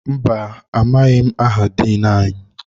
Mbà, amaghị aha Diin anyị.